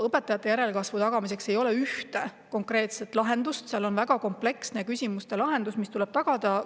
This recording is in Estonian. Õpetajate järelkasvu tagamiseks ei ole ühte konkreetset lahendust, vaid kompleksne lahendus, mis tuleb tagada.